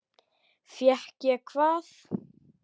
Fékk ég hvað?